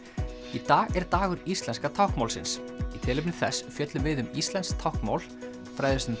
í dag er dagur íslenska táknmálsins í tilefni þess fjöllum við um íslenskt táknmál fræðumst um